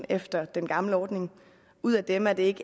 efter den gamle ordning ud af dem er det ikke